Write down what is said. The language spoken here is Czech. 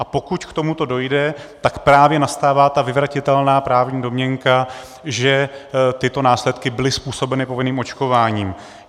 A pokud k tomuto dojde, tak právě nastává ta vyvratitelná právní domněnka, že tyto následky byly způsobeny povinným očkováním.